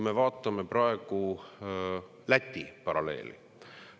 Vaatame Läti paralleeli.